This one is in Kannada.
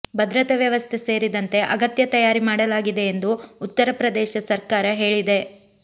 ಭದ್ರತೆ ವ್ಯವಸ್ಥೆ ಸೇರಿದಂತೆ ಅಗತ್ಯ ತಯಾರಿ ಮಾಡಲಾಗಿದೆ ಎಂದು ಉತ್ತರ ಪ್ರದೇಶ ಸರ್ಕಾರ ಹೇಳಿದೆ